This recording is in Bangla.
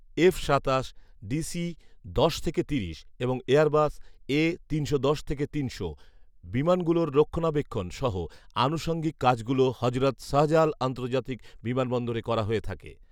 এফ সাতাশ, ডিসি দশ থেকে তিরিশ এবং এয়ারবাস এ তিনশো দশ থেকে তিনশো, বিমানগুলোর রক্ষনাবেক্ষণ সহ আনুষঙ্গিক কাজগুলো হজরত শাহজালাল আন্তর্জাতিক বিমানবন্দরে করা হয়ে থাকে